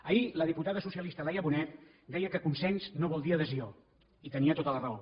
ahir la diputada socialista laia bonet deia que consens no vol dir adhesió i tenia tota la raó